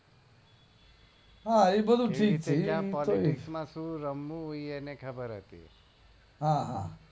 હા એ બધું ઠીક છે શું રમવું એ એને ખબર હતી હા હા